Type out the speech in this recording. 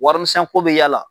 Warimisɛnko bɛ y'a la.